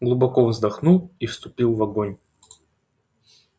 глубоко вздохнул и вступил в огонь